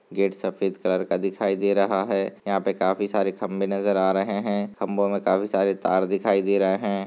Gate सफ़ेद colour का दिखाई दे रहा है यहाँ पे काफी सारे खम्भे नजर आ रहे है खम्भों में काफी सारे तार दिखाई दे रहे है।